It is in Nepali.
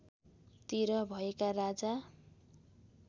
तिर भएका राजा